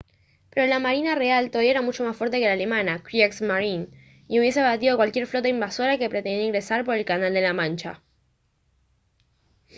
pero la marina real todavía era mucho más fuerte que la alemana kriegsmarine y hubiese abatido a cualquier flota invasora que pretendiera ingresar por canal de la mancha